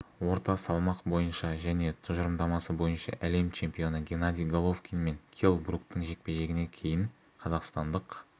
орта салмақ бойынша және тұжырымдамасы бойынша әлем чемпионы геннадий головкин мен келл бруктің жекпе-жегінен кейін қазақстандық